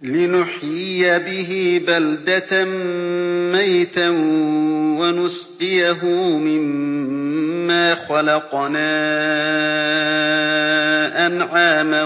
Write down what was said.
لِّنُحْيِيَ بِهِ بَلْدَةً مَّيْتًا وَنُسْقِيَهُ مِمَّا خَلَقْنَا أَنْعَامًا